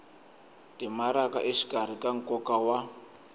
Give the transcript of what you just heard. timaraka exikarhi ka nkoka wa